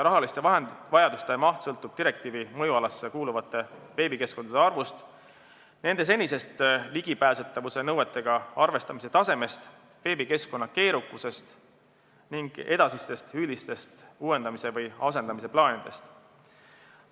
Rahaliste vahendite vajadus sõltub direktiivi mõjualasse kuuluvate veebikeskkondade arvust, nende senisest ligipääsetavuse nõuetega arvestamise tasemest, veebikeskkonna keerukusest ning üldistest uuendamise või asendamise plaanidest.